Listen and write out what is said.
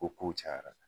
Ko kow cayara